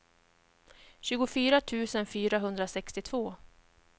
tjugofyra tusen fyrahundrasextiotvå